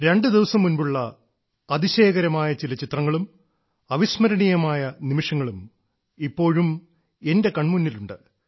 രണ്ടു ദിവസം മുൻപുള്ള അതിശയകരമായ ചില ചിത്രങ്ങളും അവിസ്മരണീയമായ നിമിഷങ്ങളും ഇപ്പോഴും എന്റെ കൺമുന്നിലുണ്ട്